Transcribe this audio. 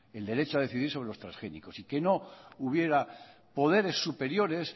el derecho a decidir sobre los transgénicos y que no hubiera poderes superiores